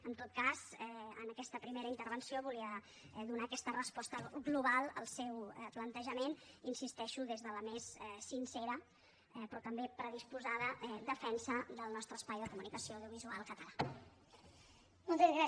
en tot cas en aquesta primera intervenció volia donar aquesta resposta global al seu plantejament hi insisteixo des de la més sincera però també predisposada defensa del nostre espai de comunicació audiovisual català